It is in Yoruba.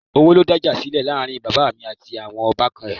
Owó ló dá ìjà sílẹ̀ láàrin bàbá mi àti àwọn ọbànkan ẹ̀